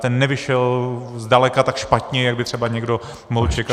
Ten nevyšel zdaleka tak špatně, jak by třeba někdo mohl čekat.